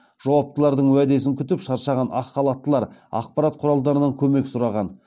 жауаптылардың уәдесін күтіп шаршаған ақ халаттылар ақпарат құралдарынан көмек сұраған